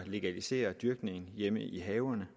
legalisere dyrkningen af hjemme i haverne